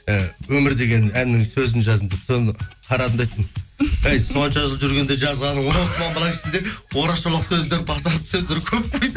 і өмір деген әнінің сөзін жаздым деп соны қарадым да айттым әй сонша жыл жүргенде жазғаның орақ шолақ сөздер базарды сөздер көп қой